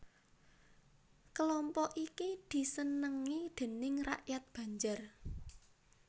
Kelompok iki disenengi déning rakyat Banjar